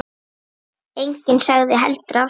Enginn sagði heldur af sér.